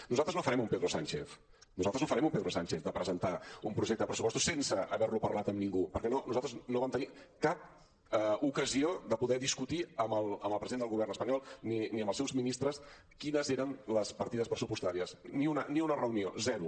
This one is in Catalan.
nosaltres no farem un pedro sánchez nosaltres no farem un pedro sánchez de presentar un projecte de pressupostos sense haver lo parlat amb ningú perquè nosaltres no vam tenir cap ocasió de poder discutir amb el president del govern espanyol ni amb els seus ministres quines eren les partides pressupostàries ni una reunió zero